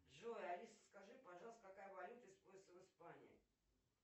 джой алиса скажи пожалуйста какая валюта используется в испании